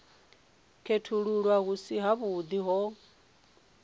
khethululwa hu si havhuḓi ho